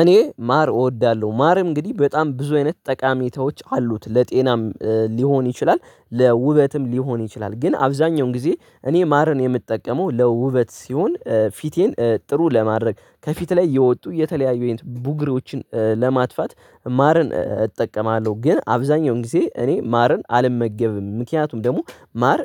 እኔ ማር እወዳለሁ ማር እንግዲህ በጣም ብዙ አይነት ጠቃሚታዎች አሉት ለጤናም ሊሆን ይችላል ለውበትም ሊሆን ይችላል። ግን አብዛኛውን ጊዜ እኔ ማርን የምጠቀመው ለውበት ሲሆን ፊቴን ጥሩ ለማድረግ ከፊት ላይ የወጡ የተለያዩ ከይነት ቡግሮዎችን ለማጥፋት ማርን እጠቀማለሁ። ግን አብዛኛውን ጊዜ እኔ ማርን አልመገብም ምክንያቱም ደግሞ ማር